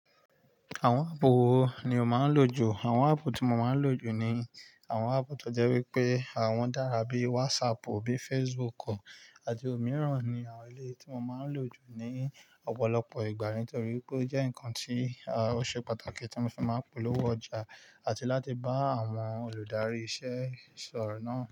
Àwọn áàpù wo ni o máa ń lò jù? Àwọn áàpù tí mo máa ń lò jù ni àwọn áàpù tó jẹ́ wípé àwọn dára bí WhatsApp, bí Facebook àti òmíràn ni àwọn eléyii tí mo máa ń lò jù ní ọ̀pọ̀lọpọ̀ ìgbà nítorí pé ó jẹ́ ǹkan tí ó ṣe pàtàkì tí mo fi máa ń polówó ọjà àti láti bá àwọn olùdarí iṣẹ́ sọ̀rọ̀ náà.